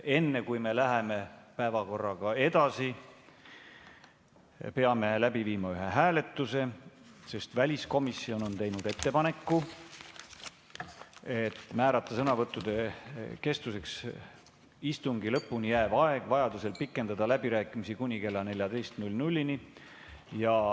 Enne kui me läheme päevakorraga edasi, peame läbi viima ühe hääletuse, sest väliskomisjon on teinud ettepaneku määrata sõnavõttude kestuseks istungi lõpuni jääv aeg ja vajaduse korral pikendada läbirääkimiste aega kuni kella 14‑ni.